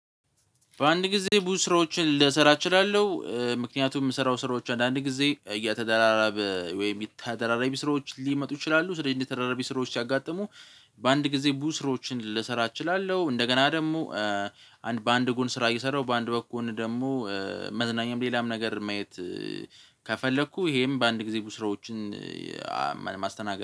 በአንድ ጊዜ ብዙ ስራዎችን ልሰራ እችላለሁ ምክንያቱም የምሰራው ስራዎች አንዳንድ ጊዜ እያተደራራበ ወይም ተደራረቢ ስራዎች ሊመጡ ይችላሉ ስለዚህ እንደተደራራቢ ስራዎች ያጋጠሙ። በአንድ ጊዜ ብዙ ስራዎችን ልሰራ እችላለሁ። እንደገና ደግሞ በአንድ ጉን ስራ እየሰራሁ በአንድ በኩል ደግሞ መዝናኛም ሌላም ነገር ማየት። ከፈለኩ ይሄም በአንድ ጊዜ ብዙ ስራዎችን ማስተናገድ